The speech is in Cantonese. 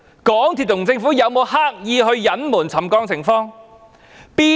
港鐵公司和政府有沒有刻意隱瞞沉降情況？